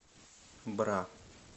бра